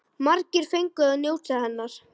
Margir fengu að njóta hennar.